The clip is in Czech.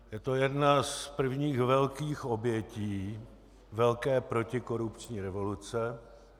Je to jedna z prvních velkých obětí velké protikorupční revoluce.